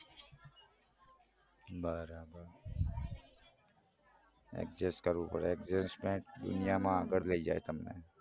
બરાબર કરવું પડે દુનિયામાં આગળ લઇ જાય તમને